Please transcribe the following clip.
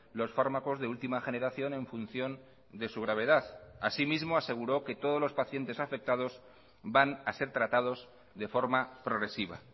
los fármacos de última generación en función de su gravedad así mismo aseguró que todos los pacientes afectados van a ser tratados de forma progresiva